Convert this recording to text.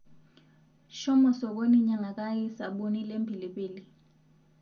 Shomo sokoni nyangakaki saboni lempilipili